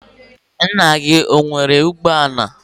nna gi ọ nwere ugbo ala?